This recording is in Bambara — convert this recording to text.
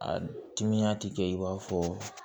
A timiya ti kɛ i b'a fɔ